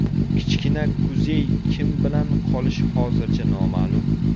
Kichkina Kuzey kim bilan qolishi hozircha noma’lum.